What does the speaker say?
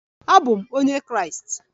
Abụ m onye Kraịst.